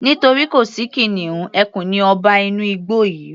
Nítorí kò sí kìnìún, ẹkùn ni ọba inú igbó yìí